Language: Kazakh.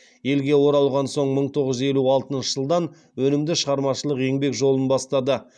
елге оралған соң мың тоғыз жүз елу алтыншы жылдан өнімді шығармашылық еңбек жолын бастады